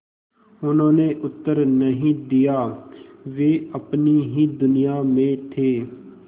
उन्होंने उत्तर नहीं दिया वे अपनी ही दुनिया में थे